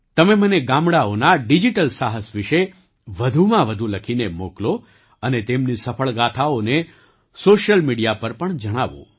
તમે મને ગામડાંઓના ડિજિટલ સાહસ વિશે વધુમાં વધુ લખીને મોકલો અને તેમની સફળ ગાથાઓને સૉશિયલ મિડિયા પર પણ જણાવો